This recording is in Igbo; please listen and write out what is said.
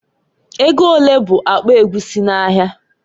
Ego olee bụ akpa egwusi n'ahịa?